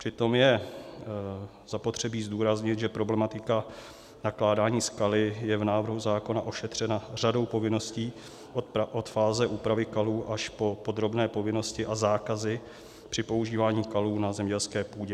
Přitom je zapotřebí zdůraznit, že problematika nakládání s kaly je v návrhu zákona ošetřena řadou povinností od fáze úpravy kalů až po podrobné povinnosti a zákazy při používání kalů na zemědělské půdě.